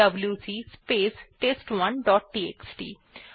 WC space test one dot TXT